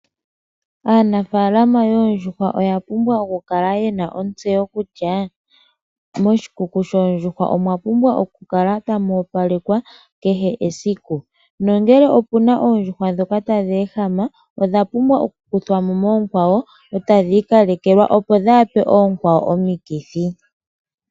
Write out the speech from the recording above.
Aanafaalama yoondjuhwa oya pumbwa oku kala yena ontseyo kutya, moshikuku shoondjuhwa omwa pumbwa oku kala tamu opalekwa, kehe esiku. Nongele opuna oondjuhwa dhoka tadhi ehama, odha pumbwa oku kuthwa mo moonkwawo, eta dhi ikalekelwa, opo dhaape oonkwawo omikithi.